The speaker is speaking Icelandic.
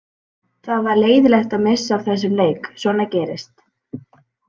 Það var leiðinlegt að missa af þessum leik en svona gerist.